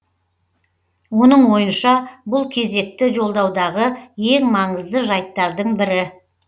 оның ойынша бұл кезекті жолдаудағы ең маңызды жайттардың бірі